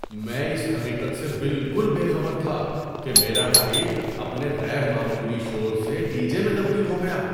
میں اس حقیقت سے بالکل بے خبر تھا کہ میرا فریج اپنے غیر معمولی شور سے ڈی جے میں تبدیل ہو گیا!